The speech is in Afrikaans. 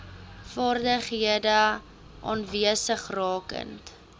vaardighede aanwesig rakende